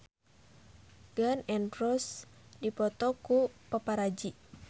Gun N Roses dipoto ku paparazi